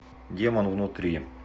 демон внутри